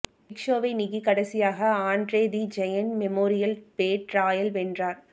big ஷோவை நீக்கி கடைசியாக Andre the giant memorial battle ராயால் வென்றார்